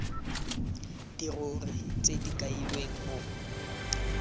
dirori tse di kailweng mo